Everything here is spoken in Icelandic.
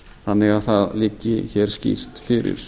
þannig að það liggi hér skýrt fyrir